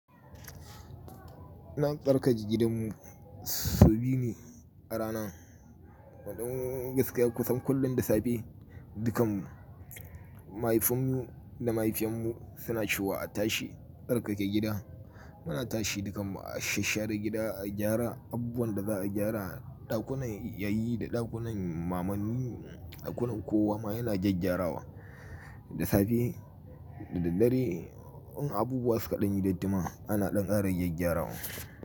Zan tsarkake gidanmu sau biyu ne a rana. Wato gaskiya kusan kullum da safe, dukan mu mahaifinmu da mahaifiyarmu suna cewa a tashi tsarkake gida. Muna tashi dukanmu a shashare gida, a gyara abubuwan da za a gyara, ɗakunan yayi da ɗakunan mamanni, ɗakunan kowa ma yana gyaggyara wa. Da safe da dare in abubuwa suka ɗan yi dattima ana ɗan ƙari gyaggyara wa.